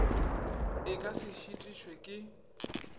e ka se šitišwe ke